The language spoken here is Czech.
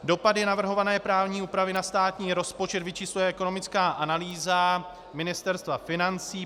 Dopady navrhované právní úpravy na státní rozpočet vyčísluje ekonomická analýza Ministerstva financí.